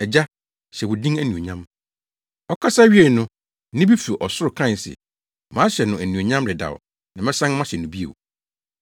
Agya, hyɛ wo din anuonyam!” Ɔkasa wiee no, nne bi fi ɔsoro kae se, “Mahyɛ no anuonyam dedaw na mɛsan mahyɛ no bio.”